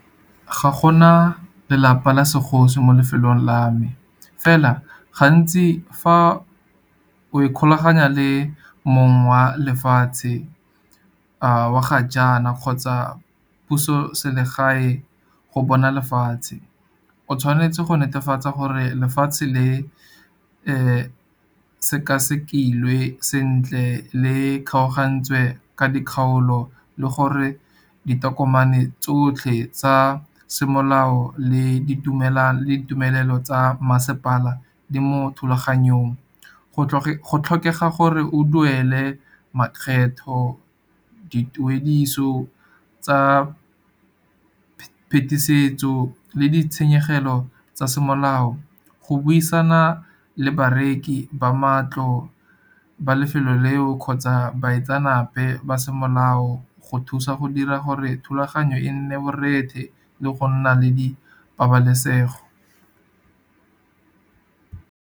Ga gona lelapa la segosi mo lefelong la me. Fela gantsi fa o ikgolaganya le mong wa lefatshe, wa ga jaana kgotsa dipusoselegae go bona lefatshe. O tshwanetse go netefatsa gore lefatshe le sekasekilwe sentle le kgaogantswe ka dikgaolo, le gore ditokomane tsotlhe tsa semolao le ditumelelo tsa masepala di mo thulaganyong. Go tlhokega gore o duele makgetho, dituediso tsa phetisetso le ditshenyegelo tsa semolao. Go buisana le bareki ba matlo ba lefelo leo kgotsa baitsanape ba semolao, go thusa go dira gore thulaganyo e nne borethe le go nna le di pabalesego.